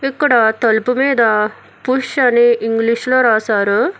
ఇక్కడ తలుపు మీద పుష్ అని ఇంగ్లీషులో రాశారు.